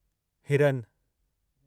हिरन